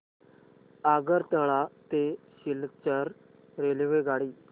आगरतळा ते सिलचर रेल्वेगाडी